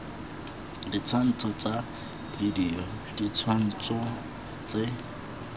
ditshwantsho tsa video ditshwantsho tse